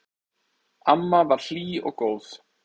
Amma var hlý og góð.